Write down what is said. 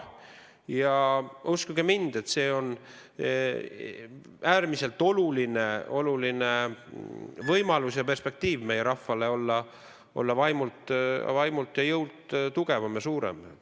Ja uskuge mind, see on meie rahvale äärmiselt oluline võimalus olla vaimult ja jõult tugevam ja suurem.